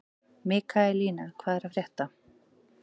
Mikaelína, hvað er að frétta?